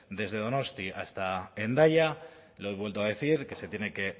desde donosti hasta hendaya lo he vuelto a decir que se tiene que